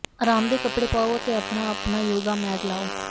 ਅਰਾਮਦੇਹ ਕੱਪੜੇ ਪਾਓ ਅਤੇ ਆਪਣਾ ਆਪਣਾ ਯੋਗਾ ਮੈਟ ਲਾਓ